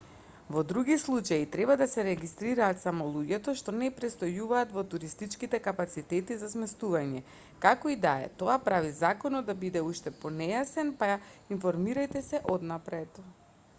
во други случаи треба да се регистрираат само луѓето што не престојуваат во туристичките капацитети за сместување како и да е тоа прави законот да биде уште понејасен па информирајте се однапред